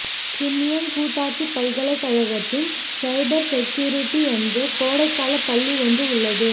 Crimean கூட்டாட்சி பல்கலைக்கழகத்தின் cyber security என்ற கோடைகால பள்ளி ஒன்று உள்ளது